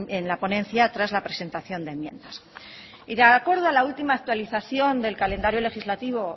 en la ponencia tras la presentación de enmiendas de acuerdo a la última actualización del calendario legislativo